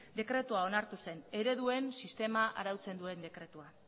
dekretua onartu zen ereduen sistema arautzen duen dekretua